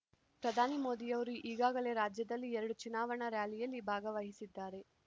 ಪ್ರಧಾನಿ ಮೋದಿಯವರು ಈಗಾಗಲೇ ರಾಜ್ಯದಲ್ಲಿ ಎರಡು ಚುನಾವಣಾ ರ್‍ಯಾಲಿಯಲ್ಲಿ ಭಾಗವಹಿಸಿದ್ದಾರೆ